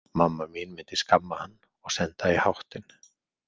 Mamma mín myndi skamma hann og senda í háttinn.